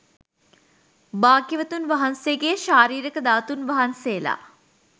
භාග්‍යවතුන් වහන්සේගේ ශාරීරික ධාතූන් වහන්සේලා